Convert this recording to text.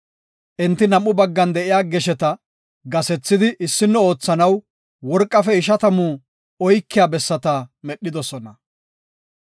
Enti nam7u baggan de7iya gesheta gasethidi issino oothanaw worqafe ishatamu oykiya bessata medhidosona.